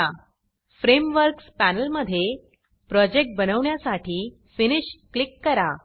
frameworks frameworks पॅनेलमधे project बनवण्यासाठी finish finish click करा